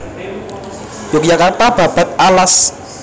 Yogyakarta Babad Alas